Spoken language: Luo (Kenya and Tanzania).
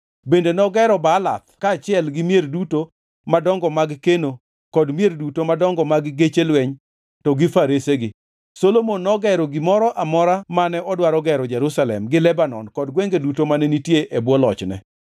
Bende nogero Baalath kaachiel gi mier duto madongo mag keno kod mier duto madongo mag geche lweny to gi faresegi, Solomon nogero gimoro amora mane odwaro gero Jerusalem gi Lebanon kod gwenge duto mane nitie e bwo lochne.